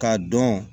K'a dɔn